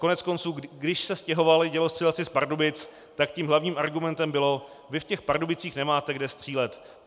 Koneckonců když se stěhovali dělostřelci z Pardubic, tak tím hlavním argumentem bylo: "Vy v těch Pardubicích nemáte kde střílet.